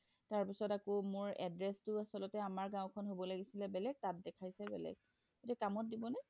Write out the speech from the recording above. তাৰ পিছত আকৌ মোৰ address তো আচলতে আমৰ গাওঁ খন হব লাগিছিলে তাত দেখাইছে বেলেগ এতিয়া কামত দিব নে